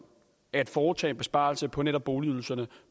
at foretage besparelser på netop boligydelserne